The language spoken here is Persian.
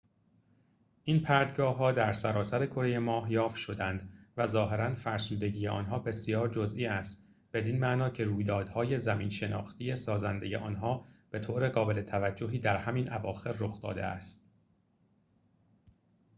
این پرتگاه‌ها در سراسر کره ماه یافت شدند و ظاهراً فرسودگی آنها بسیار جزئی است بدین معنا که رویدادهای زمین‌شناختی سازنده آنها به‌طور قابل توجهی در همین اواخر رخ داده است